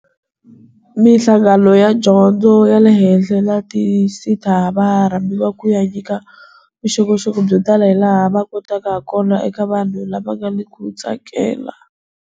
Mihlangano ya Dyondzo ya le Henhla na ti SETA va rhambiwa ku ya nyika vuxokoxoko byo tala hilaha va kotaka hakona eka vanhu lava nga na ku tsakela.